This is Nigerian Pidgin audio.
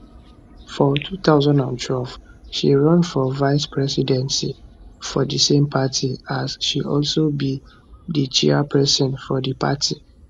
for 2012 she run for vice presidency for di same party as she also be di chairpesin of di party